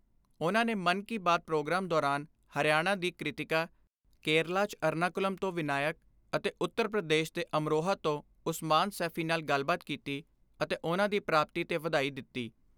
ਉਨ੍ਹਾਂ ਨੇ ਮਨ ਕੀ ਬਾਤ ਪ੍ਰੋਗਰਾਮ ਦੌਰਾਨ ਹਰਿਆਣਾ ਦੀ ਕ੍ਰਿਤੀਕਾ, ਕੇਰਲਾ ' ਚ ਅਰਨਾਕੁਲਮ ਤੋਂ ਵਿਨਾਇਕ ਅਤੇ ਉੱਤਰ ਪ੍ਰਦੇਸ਼ ਦੇ ਅਮਰੋਹਾ ਤੋਂ ਉਸਮਾਨ ਸੈਫੀ ਨਾਲ ਗੱਲਬਾਤ ਕੀਤੀ ਅਤੇ ਉਨ੍ਹਾਂ ਦੀ ਪ੍ਰਾਪਤੀ ਤੇ ਵਧਾਈ ਦਿੱਤੀ।